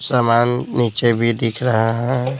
सामान नीचे भी दिख रहा है।